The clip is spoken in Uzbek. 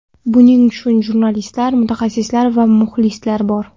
Buning uchun jurnalistlar, mutaxassislar va muxlislar bor.